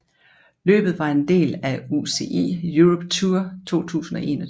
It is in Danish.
Løbet var en del af UCI Europe Tour 2021